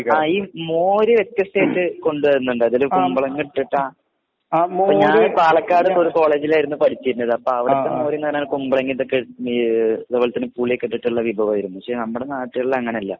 ആ ഈ മോര് വ്യത്യസ്ഥായിട്ട് കൊണ്ട് വരുന്നുണ്ട് അതില് കുമ്പളങ്ങ ഇട്ടിട്ടാ ഇപ്പൊ ഞാൻ പാലക്കാട് ഒരു കോളേജിലായിരുന്നു പഠിച്ചീരുന്നത് അപ്പൊ അവിടുത്തെ മോര്ന്ന് പറഞ്ഞാല് കുമ്പളെങെതൊക്കെ ഈ അതെ പോലെ തന്നെ പുളിയൊക്കെ ഇട്ടിട്ട്ള്ള വിഭവായിരുന്നു പക്ഷെ നമ്മടെ നാടട്ടേൾലങ്ങനല്ല